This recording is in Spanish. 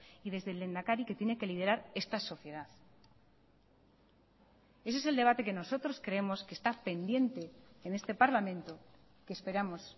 y desde el lehendakari que tiene que liderar esta sociedad ese es el debate que nosotros creemos que está pendiente en este parlamento que esperamos